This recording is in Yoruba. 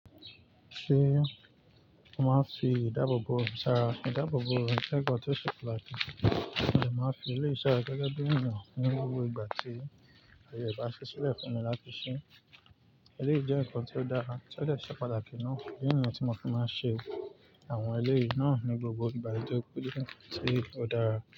Ṣé o máa fi ìdáàbòbò sára? Ìdáàbòbò jẹ́ ǹkan tó ṣe pàtàkì, ọjà máa fi ilé iṣẹ́ rẹ̀ gẹ́gẹ́ bí ǹkan ní gbogbo ìgbà tí ẹni kò bá ṣe sílẹ̀ fún wọn láti sé Eléyìí jẹ́ ǹkan tí ó dára, tí ó ṣe pàtàkì náà. Ìdí nìyẹn tí mo fi máa ń ṣe àwọn eléyìí náà ní gbogbo ìgbà tí ó péye tí ó dára.